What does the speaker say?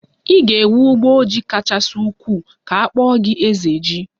Ị ga-enwe ugbo ji kachasị ukwuu ka akpọ gi 'ezeji'